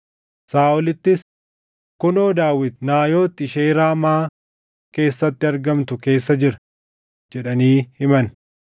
Saaʼolittis, “Kunoo Daawit Naayot ishee Raamaa keessatti argamtu keessa jira” jedhanii himan.